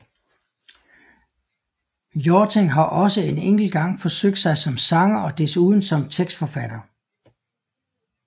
Hjorting har også en enkelt gang forsøgt sig som sanger og desuden som tekstforfatter